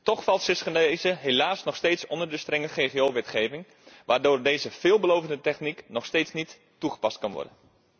Toch valt cisgenese helaas nog steeds onder de strenge ggo wetgeving, waardoor deze veelbelovende techniek nog steeds niet toegepast kan worden.